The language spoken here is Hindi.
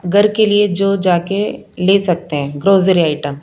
घर के लिए जो जाके ले सकते हैं ग्राेसरी आइटम ।